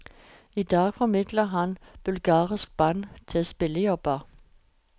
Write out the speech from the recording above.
I dag formidler han bulgarske band til spillejobber.